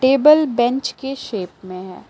Table bench के shape में है।